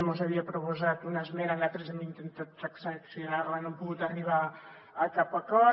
mos havia proposat una esmena nosaltres hem intentat transaccionar la no hem pogut arribar a cap acord